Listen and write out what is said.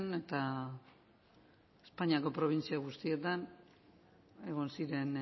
eta espainiako probintzia guztietan egon ziren